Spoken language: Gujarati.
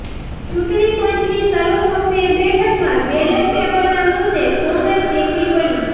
ચૂંટણી પંચની સર્વપક્ષીય બેઠકમાં બેલેટ પેપરના મુદ્દે કોંગ્રેસ એકલી પડી